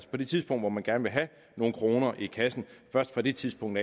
på det tidspunkt hvor man gerne vil have nogle kroner i kassen først fra det tidspunkt